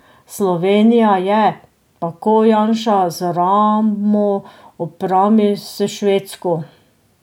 Slovenija je, tako Janša, z ramo ob rami s Švedsko.